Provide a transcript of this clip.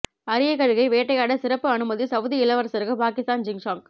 அரிய கழுகை வேட்டையாட சிறப்பு அனுமதி சவுதி இளவரசருக்கு பாகிஸ்தான் ஜிங்ஜாக்